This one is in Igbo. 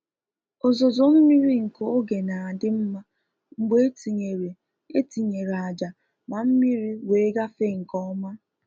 Ọzozo mmiri nke oge n'adi mma mgbe e tinyere e tinyere àjà ma mmiri wee gaafe nke oma